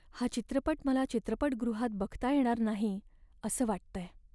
हा चित्रपट मला चित्रपटगृहात बघता येणार नाही असं वाटतंय.